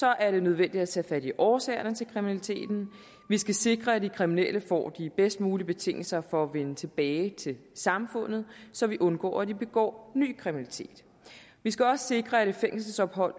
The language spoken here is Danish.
er det nødvendigt at tage fat i årsagerne til kriminaliteten vi skal sikre at de kriminelle får de bedst mulige betingelser for at vende tilbage til samfundet så vi undgår at de begår ny kriminalitet vi skal også sikre at et fængselsophold